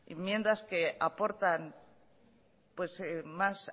enmiendas que aportan más